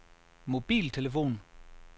mobiltelefon